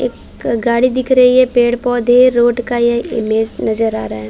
एक गाड़ी दिख रही है पेड़-पौधे रोड का यह इमेज नज़र आ रहा है।